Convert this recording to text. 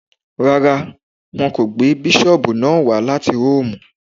Rárá, wọn kò gbé bísọ̀bù náà wá láti róòmù